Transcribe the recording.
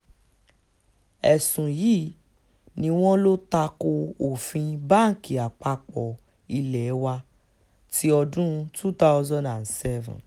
ẹ̀sùn yìí ni wọ́n lọ ta ko òfin báǹkì àpapọ̀ ilé wa ti ọdún two thousand and seven